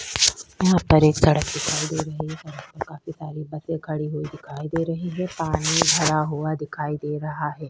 यहाँ पर एक सड़क दीखाई दे रही है सड़क पे काफी सारी बसेस खड़ी हुई दीखाई दे रही है पानी भरा हुआ दीखाई दे रहा है।